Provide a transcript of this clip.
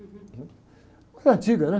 né? Moeda antiga, né?